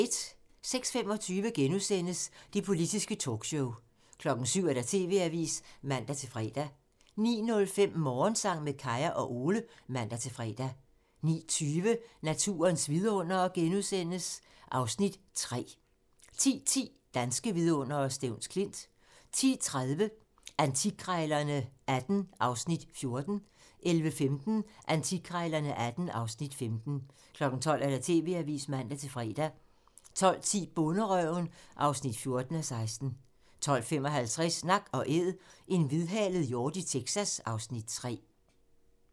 06:25: Det politiske talkshow *(man) 07:00: TV-avisen (man-fre) 09:05: Morgensang med Kaya og Ole (man-fre) 09:20: Naturens vidundere II (Afs. 3)* 10:10: Danske Vidundere: Stevns Klint 10:30: Antikkrejlerne XVIII (Afs. 14) 11:15: Antikkrejlerne XVIII (Afs. 15) 12:00: TV-avisen (man-fre) 12:10: Bonderøven (14:16) 12:55: Nak & Æd - en hvidhalet hjort i Texas (Afs. 3)